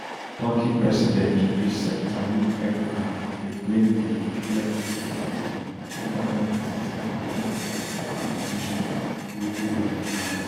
turkey president recep tayyip erdogan bin blame di gulen movement for di two thousand and sixteen attempt coup accusations wey gulen deny